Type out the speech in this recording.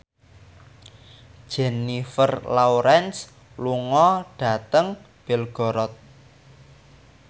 Jennifer Lawrence lunga dhateng Belgorod